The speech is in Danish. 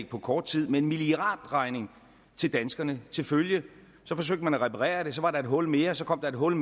på kort tid med en milliardregning til danskerne til følge så forsøgte man at reparere det så var der et hul mere og så kom der et hul